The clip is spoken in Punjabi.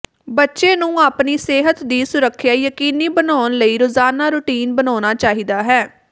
ਬੱਚੇ ਨੂੰ ਆਪਣੀ ਸਿਹਤ ਦੀ ਸੁਰੱਖਿਆ ਯਕੀਨੀ ਬਣਾਉਣ ਲਈ ਰੋਜ਼ਾਨਾ ਰੁਟੀਨ ਬਣਾਉਣਾ ਚਾਹੀਦਾ ਹੈ